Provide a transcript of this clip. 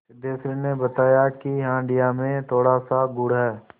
सिद्धेश्वरी ने बताया कि हंडिया में थोड़ासा गुड़ है